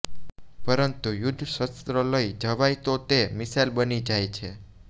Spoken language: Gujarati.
પરંતુ યુદ્ધશસ્ત્ર લઈ જવાય તો તે મિસાઈલ બની જાય છે